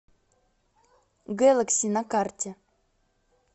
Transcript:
гэлэкси на карте